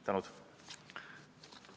Tänud!